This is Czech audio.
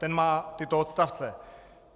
Ten má tyto odstavce: